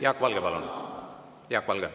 Jaak Valge, palun!